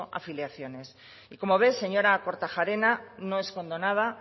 afiliaciones y como ve señora kortajarena no escondo nada